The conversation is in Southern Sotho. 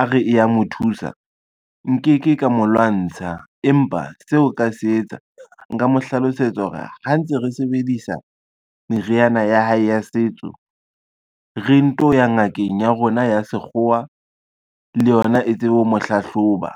a re e ya mo thusa, nke ke ka mo lwantsha empa seo nka se etsa nka mo hlalosetsa hore ha ntse re sebedisa meriana ya hae ya setso, re nto ya ngakeng ya rona ya sekgowa le yona e tsebe ho mo hlahloba.